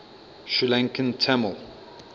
sri lankan tamil